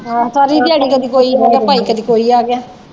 ਆਹੋ ਸਾਰੀ ਦਿਆੜੀ ਕਦੀ ਕੋਈ ਆਗਿਆ ਭਾਈ ਕਦੀ ਕੋਈ ਆਗਿਆ।